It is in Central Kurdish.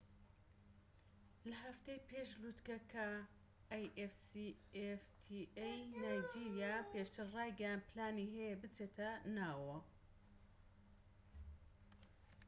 نایجیریا پێشتر ڕایگەیاند پلانی هەیە بچێتە ناو afcfta ەوە لە هەفتەی پێش لوتکەکە